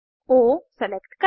ओ select करें